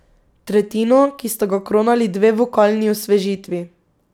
Tretjino, ki sta ga kronali dve vokalni osvežitvi.